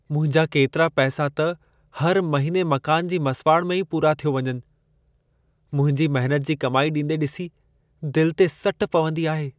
मुंहिंजा केतिरा पैसा त हर महिने मकान जी मसुवाड़ में ई पूरा थियो वञनि। मुंहिंजी महिनत जी कमाई ॾींदे ॾिसी, दिलि ते सट पवंदी आहे।